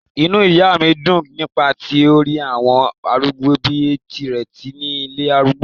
inú ìyá mi dùn nígbà tí ó rí àwọn arúgbó bíi tirẹ̀ ní ilé arúgbó